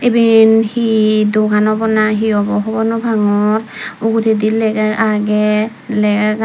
eben hi dogan awbaw nahi awbaw hobor nopangor uguredi lega agey legagan.